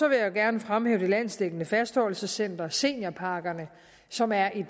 jeg gerne fremhæve det landsdækkende fastholdelsescenter seniorpakkerne som er et